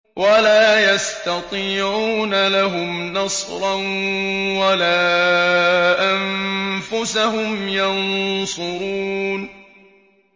وَلَا يَسْتَطِيعُونَ لَهُمْ نَصْرًا وَلَا أَنفُسَهُمْ يَنصُرُونَ